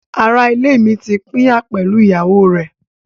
Ará-ilé mi ti pínyà pẹ̀lú ìyàwó rẹ̀.